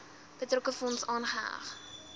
betrokke fonds aanheg